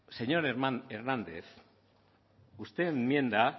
señor hernández usted enmienda